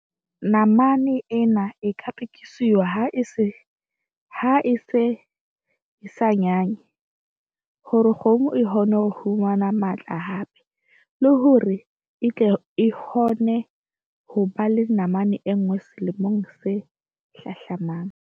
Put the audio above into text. Namane ena e ka rekiswa ha e se e sa nyanye hore kgomo e kgone ho fumana matla hape, le hore e tle e kgone ho ba le namane enngwe selemong se hlahlamang.